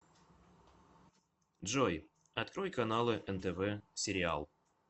джой открой каналы нтв сериал